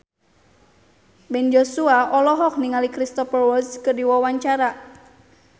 Ben Joshua olohok ningali Cristhoper Waltz keur diwawancara